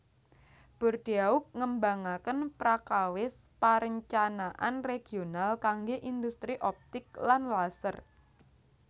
Bordeaux ngembangaken prakawis parencanaan regional kanggé indhustri optik lan laser